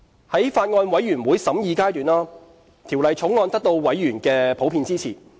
在法案委員會審議階段，《條例草案》得到委員的普遍支持。